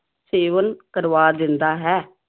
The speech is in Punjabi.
ਸੇਵਨ ਕਰਵਾ ਦਿੰਦਾ ਹੈ।